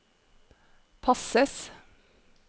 passes